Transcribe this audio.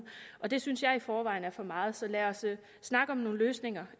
det synes jeg i forvejen er for meget så lad os snakke om nogle løsninger